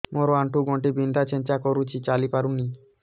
ମୋର ଆଣ୍ଠୁ ଗଣ୍ଠି ବିନ୍ଧା ଛେଚା କରୁଛି ଚାଲି ପାରୁନି